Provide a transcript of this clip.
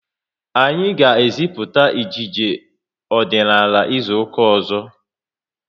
Anyi ga e ziputa ejije ọdịnala izuka ụzọ